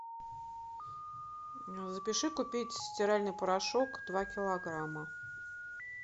запиши купить стиральный порошок два килограмма